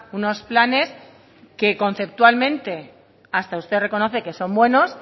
unos planes que conceptualmente hasta usted reconoce que son buenos